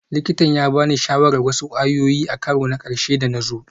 Likitan ya ba ni shawarar wasu kwayoyi a karo na ƙarshe da na zo